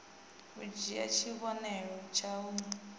u dzhie tshivhonelo tshau d